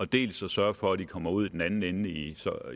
dels at sørge for at de kommer ud i den anden ende i